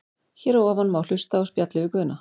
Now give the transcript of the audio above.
Hér að ofan má hlusta á spjallið við Guðna.